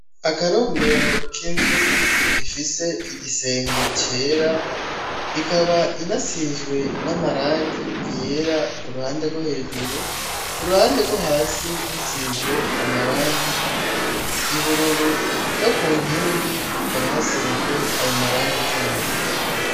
Akarombero k'inzu ifise igisenge cera ikaba inasizwe n'amarangi yera ku ruhande rwo hejuru, ku ruhande rwo hasi hasizwe amarangi y'ubururu no ku nkingi hakaba hasizwe ayo marangi nyene.